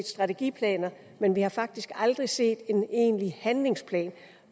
strategiplaner men vi har faktisk aldrig set en egentlig handlingsplan